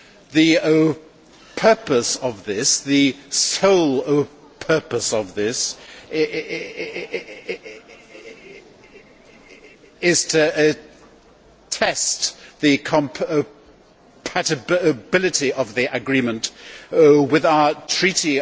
The purpose of this, the sole purpose of this, is to test the compatibility of the agreement with our Treaty